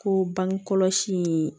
Ko bangekɔlɔsi in